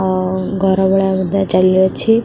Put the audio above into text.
ଅଁ ଅଁ ଘରଗୁଡା ବୋଧେ ଚାଲିଅଛି ।